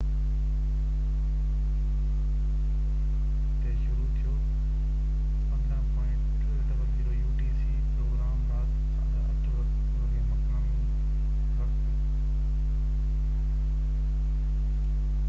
programme رات 8:30 مقامي وقت 15.00 utc تي شروع ٿيو